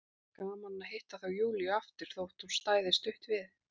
Gaman að hitta þá Júlíu aftur, þótt hún stæði stutt við.